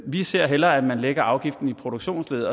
vi ser hellere at man lægger afgiften i produktionsleddet